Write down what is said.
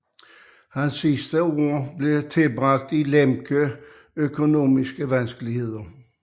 Hans sidste år blev tilbragt i Lemke økonomiske vanskeligheder